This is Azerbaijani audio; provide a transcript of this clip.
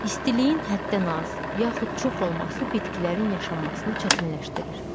İstiliyin həddən az, yaxud çox olması bitkilərin yaşanmasını çətinləşdirir.